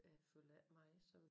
Jeg følger ikke med som